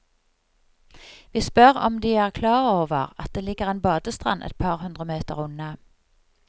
Vi spør om de er klar over at det ligger en badestrand et par hundre meter unna.